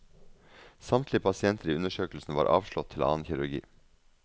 Samtlige pasienter i undersøkelsen var avslått til annen kirurgi.